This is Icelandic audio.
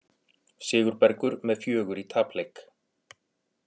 Sigurbergur með fjögur í tapleik